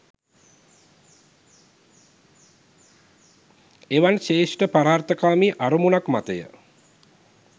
එවන් ශ්‍රේෂ්ඨ පරාර්ථකාමී අරමුණක් මතය.